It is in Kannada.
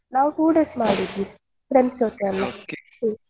ನಾವ್ two days ಮಾಡಿದ್ವಿ friends ಜೊತೆ ಅಲ್ಲ ಹ್ಮ್‌.